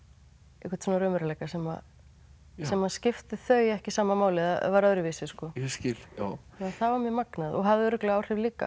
einhvern raunveruleika sem sem skipti þau ekki sama máli var öðruvísi sko ég skil já það var mjög magnað og hafði örugglega áhrif líka